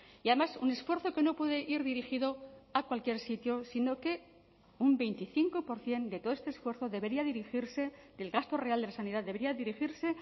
y además un esfuerzo que no puede ir dirigido a cualquier sitio sino que un veinticinco por ciento de todo este esfuerzo debería dirigirse del gasto real de la sanidad debería dirigirse